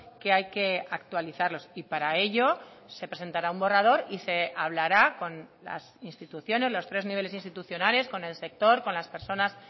que hay que actualizarlos y para ello se presentará un borrador y se hablará con las instituciones los tres niveles institucionales con el sector con las personas